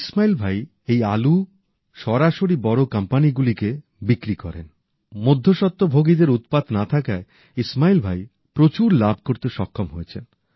ইসমাইল ভাই এই আলু সরাসরি বড় কোম্পানিগুলিকে বিক্রি করেন মধ্যস্বত্বভোগীদের উৎপাত না থাকায় ইসমাইল ভাই প্রচুর লাভ করতে সক্ষম হয়েছেন